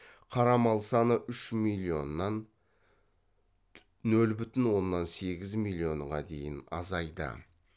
қара мал саны үш миллионнан нөл бүтін оннан сегіз миллионға дейін азайды